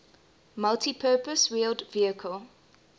multipurpose wheeled vehicle